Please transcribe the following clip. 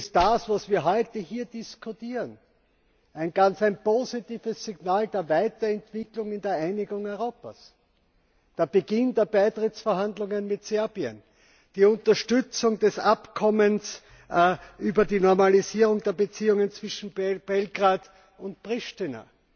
Darum ist das, was wir heute hier diskutieren, ein ganz positives Signal der Weiterentwicklung in der Einigung Europas der Beginn der Beitrittsverhandlungen mit Serbien, die Unterstützung des Abkommens über die Normalisierung der Beziehungen zwischen Belgrad und Priština